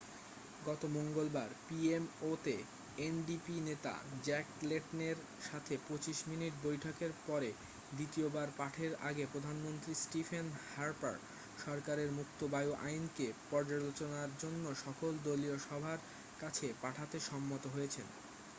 গত মঙ্গলবার পিএমও'তে এনডিপি নেতা জ্যাক লেটনের সাথে 25 মিনিট বৈঠকের পরে দ্বিতীয়বার পাঠের আগে প্রধানমন্ত্রী স্টিফেন হার্পার সরকারের মুক্ত বায়ু আইন'কে পর্যালোচনার জন্য সকল দলীয় সভার কাছে পাঠাতে সম্মত হয়েছেন